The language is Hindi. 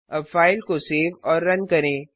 अब फाइल को सेव और रन करें